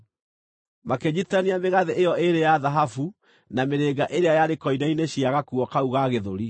Makĩnyiitithania mĩgathĩ ĩyo ĩĩrĩ ya thahabu na mĩrĩnga ĩrĩa yarĩ koine-inĩ cia gakuo kau ga gĩthũri,